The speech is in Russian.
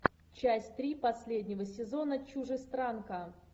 часть три последнего сезона чужестранка